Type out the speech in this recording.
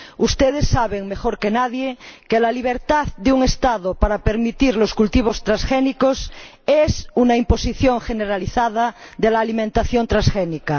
Ustedes saben mejor que nadie que la libertad de un Estado para permitir los cultivos transgénicos es una imposición generalizada de la alimentación transgénica.